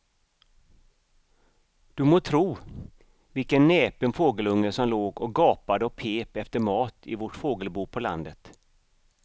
Du må tro vilken näpen fågelunge som låg och gapade och pep efter mat i vårt fågelbo på landet.